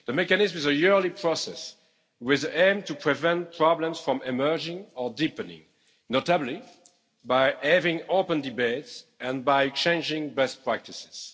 The mechanism is a yearly process with the aim to prevent problems from emerging or deepening, notably by having open debates and by changing best practices.